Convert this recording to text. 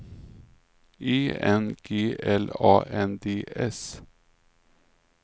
E N G L A N D S